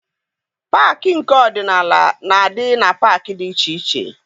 Paakị nke ọdịnala na-adị na paakị dị iche iche.